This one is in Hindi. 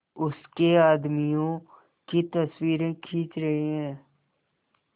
उसके आदमियों की तस्वीरें खींच रहे हैं